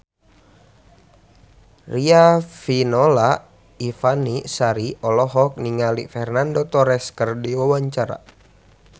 Riafinola Ifani Sari olohok ningali Fernando Torres keur diwawancara